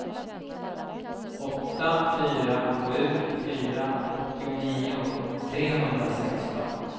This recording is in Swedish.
åtta fyra sju fyra åttionio trehundrasexton